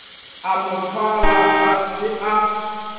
a mothwalwa ga se a